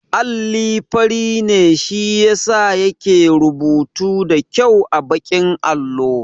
Alli fari ne shi yasa yake rubutu da kyau a baƙin allo